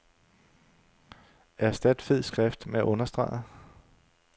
Erstat fed skrift med understreget.